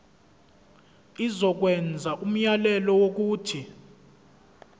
izokwenza umyalelo wokuthi